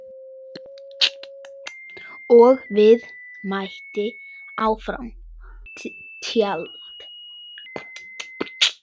Og svo mætti áfram telja.